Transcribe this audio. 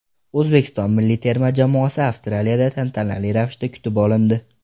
O‘zbekiston milliy terma jamoasi Avstraliyada tantanali ravishda kutib olindi .